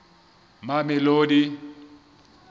mamelodi